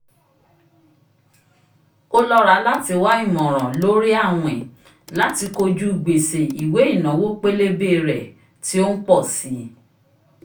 o lọra lati wa imọran lórí awin lati kojú gbese ìwé ìnáwó pélébé rẹ ti o npọ si